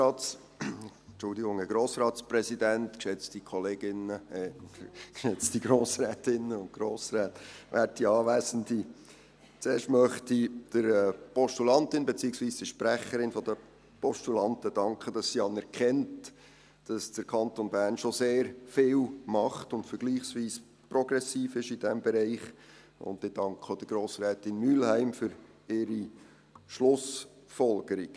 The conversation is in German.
Zuerst möchte ich der Postulantin – beziehungsweise der Sprecherin der Postulanten – danken, dass sie anerkennt, dass der Kanton Bern schon sehr viel macht und vergleichsweise progressiv ist in diesem Bereich, und ich danke auch Grossrätin Mühlheim für ihre Schlussfolgerung.